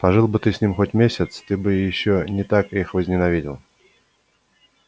пожил бы ты с ними хоть месяц ты бы ещё не так их возненавидел